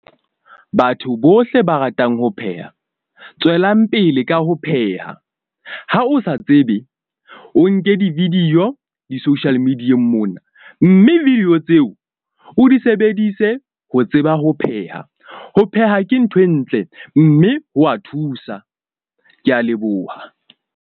Batho bohle ba ratang ho pheha tswelang pele, ka ho pheha. Ha o sa tsebe, o nke di-video di-social media-eng mona. Mme video tseo o di sebedise ho tseba ho pheha. Ho pheha ke ntho e ntle mme ho wa thusa. Ke a leboha.